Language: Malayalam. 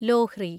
ലോഹ്രി